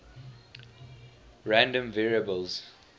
random variables